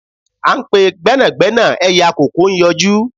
À n pe gbẹ́nàgbẹ́nà ẹyẹ àkòko n yọjú